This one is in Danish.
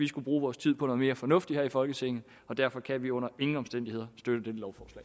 skulle bruge tiden på noget mere fornuftigt her i folketinget og derfor kan vi under ingen omstændigheder støtte